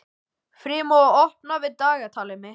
Freymóður, opnaðu dagatalið mitt.